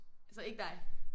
Altså ikke dig?